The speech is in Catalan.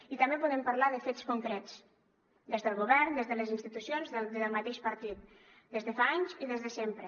i també podem parlar de fets concrets des del govern des de les institucions des del mateix partit des de fa anys i des de sempre